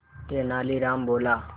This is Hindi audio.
तेनालीराम बोला